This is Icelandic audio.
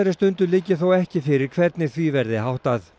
stundu liggi þó ekki fyrir hvernig því verði háttað